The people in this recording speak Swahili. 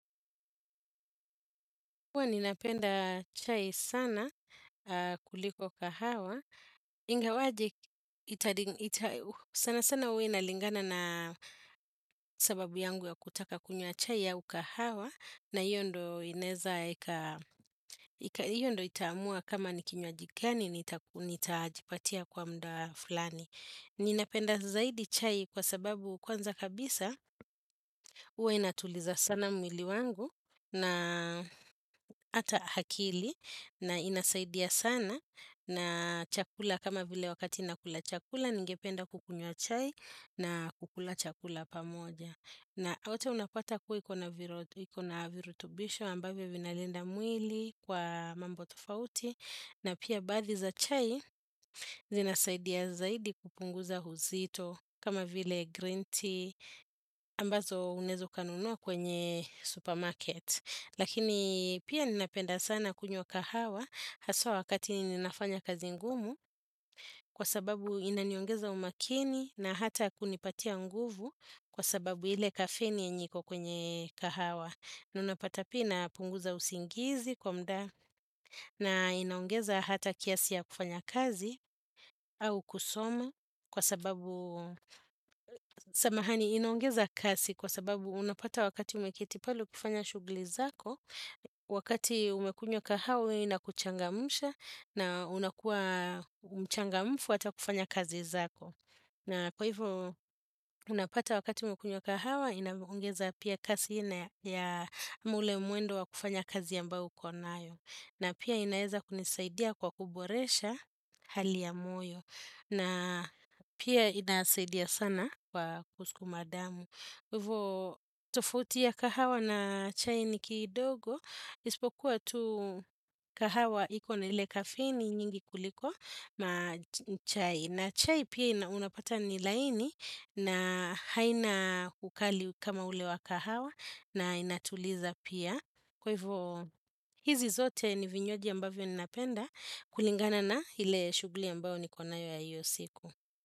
Huwa ninapenda chai sana kuliko kahawa, ingawaje, sana sana huwa inalingana na sababu yangu ya kutaka kunywa chai au kahawa na hiyo ndo itamua kama nikinywaji gani nitajipatia kwa muda falani. Ninapenda zaidi chai kwa sababu kwanza kabisa huwa inatuliza sana mwili wangu na ata hakili na inasaidia sana na chakula kama vile wakati nakula chakula ningependa kukunyua chai na kukula chakula pamoja. Na hote unapata kuwa ikona virutubisho ambavyo vinalenda mwili kwa mambo tofauti na pia bathi za chai zinasaidia zaidi kupunguza uzito kama vile green tea ambazo unaweza ukanunua kwenye supermarket. Lakini pia ninapenda sana kunywa kahawa haswa wakati ninafanya kazi ngumu kwa sababu inaniongeza umakini na hata kunipatia nguvu kwa sababu ile kafeni yenye iko kwenye kahawa. Naunapata pia ina punguza usingizi kwa muda na inaongeza hata kiasi ya kufanya kazi au kusoma kwa sababu samahani inaongeza kasi kwa sababu unapata wakati umeketi pale kufanya shugli zako, wakati umekunywa kahawa ina kuchangamsha na unakua mchangamfu hata kufanya kazi zako. Na kwa hivyo, unapata wakati umekunywa kahawa, inavyoongeza pia kasi na ya ama ule mwendo wa kufanya kazi ambayo ukonayo. Na pia inaeza kunisaidia kwa kuboresha hali ya moyo. Na pia inasaidia sana kwa kusukuma damu. Hivo, tofuti ya kahawa na chai ni kidogo. Isipokuwa tu kahawa iko na ile kafini nyingi kuliko chai. Na chai pia unapata ni laini na haina ukali kama ule wa kahawa na inatuliza pia. Kwa hivyo hizi zote ni vinywaji ambavyo ninapenda kulingana na ile shuguli ambayo niko nayo ya iyo siku.